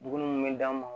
Duguni munnu be d'anw ma